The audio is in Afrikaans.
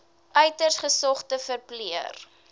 uiters gesogde verpleër